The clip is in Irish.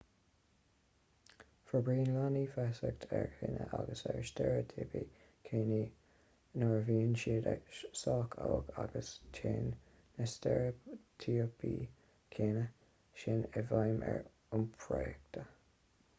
forbraíonn leanaí feasacht ar chine agus ar steiréitíopaí cine nuair a bhíonn siad sách óg agus téann na steiréitíopaí cine sin i bhfeidhm ar iompraíocht